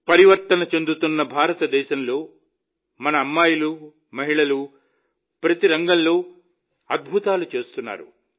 పరివర్తన చెందుతున్న భారతదేశంలో మన అమ్మాయిలు మహిళలు ప్రతి రంగంలో అద్భుతాలు చేస్తున్నారు